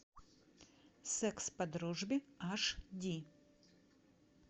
секс по дружбе аш ди